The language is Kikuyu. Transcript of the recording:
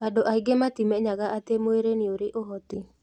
Andũ aingĩ matimenyaga atĩ mwĩrĩ nĩũrĩ ũhoti